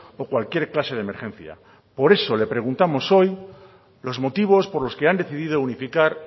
o cualquier clase de emergencia por eso le preguntamos hoy los motivos por los que han decidido unificar